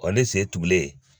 ne sen tugulen